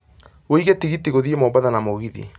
wiĩge tigiti gũthiĩ mombatha na mũgithi